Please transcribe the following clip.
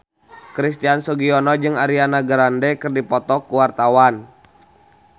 Christian Sugiono jeung Ariana Grande keur dipoto ku wartawan